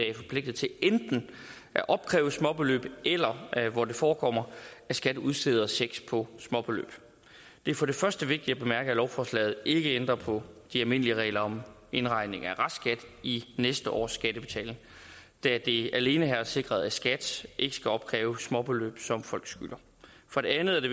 er forpligtet til enten at opkræve småbeløb eller hvor det forekommer at skat udsteder checks på småbeløb det er for det første vigtigt at bemærke at lovforslaget ikke ændrer på de almindelige regler om indregning af restskat i næste års skattebetaling da det alene her er sikret at skat ikke skal opkræve småbeløb som folk skylder for det andet er det